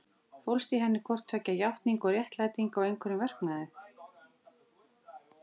Fólst í henni hvort tveggja játning og réttlæting á einhverjum verknaði?